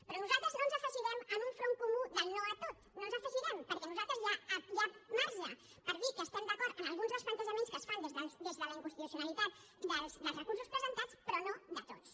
però nosaltres no ens afegirem a un front comú del no a tot no ens hi afegirem perquè per nosaltres hi ha marge per dir que estem d’acord amb alguns dels plantejaments que es fan des de la inconstitucionalitat dels recursos presentats però no de tots